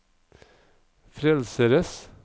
frelsers